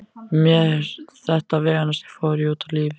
Með þetta veganesti fór ég út í lífið.